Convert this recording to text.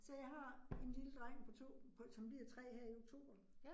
Så jeg har en lille dreng på 2, på som bliver 3 her i oktober